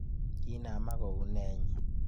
Kinamak kou nee inye?